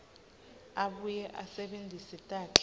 abuye asebentise takhi